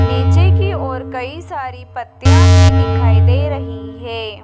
नीचे की ओर कहीं सारी पत्तियां भी दिखाई दे रही है।